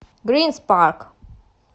грин спарк